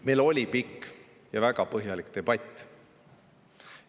Meil oli pikk ja väga põhjalik debatt.